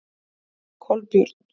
Kolbjörn